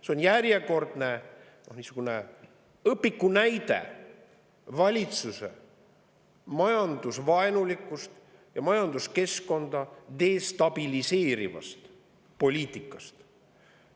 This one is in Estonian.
See on järjekordne õpikunäide valitsuse majandusvaenulikust ja majanduskeskkonda destabiliseerivast poliitikast.